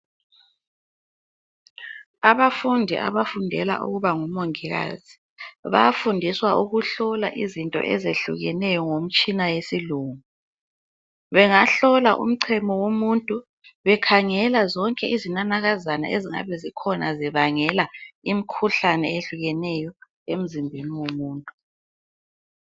Abafundi abafundela ukuba ngomongikazi bayafundiswa ukuhlola izinto ezehlukeneyo ngemtshina yesilungu. Bangahlola umchemo womuntu bekhangela zonke izinanakazana ezingabe zikhona zibangela imikhuhlane eyehlukeneyo emzimbeni womuntu.